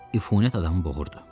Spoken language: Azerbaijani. Üfunət adamı boğurdu.